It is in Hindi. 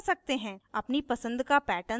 अपनी पसंद का pattern सलेक्ट करने के लिए